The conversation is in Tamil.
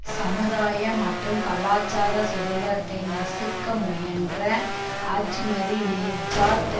சமுதாய மற்றும் கலாச்சார சுதந்திரத்தை நசுக்க முயன்ற அஜ்மதினெஜாத்